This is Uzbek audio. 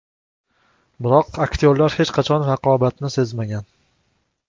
Biroq aktyorlar hech qachon raqobatni sezmagan.